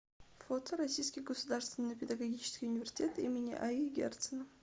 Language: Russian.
фото российский государственный педагогический университет им аи герцена